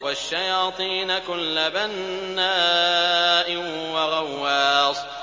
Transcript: وَالشَّيَاطِينَ كُلَّ بَنَّاءٍ وَغَوَّاصٍ